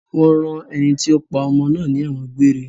Wọ́n rán ẹni tí ó pa ọmọ náà ní ẹ̀wọ̀n gbére.